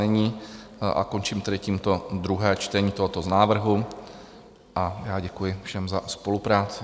Není, a končím tedy tímto druhé čtení tohoto z návrhu a děkuji všem za spolupráci.